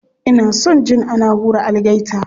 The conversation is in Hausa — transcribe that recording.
Ina son jin ana hura algaita.